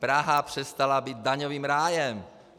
Praha přestala být daňovým rájem.